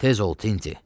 Tez ol, Tinti.